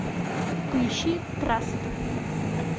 поищи траст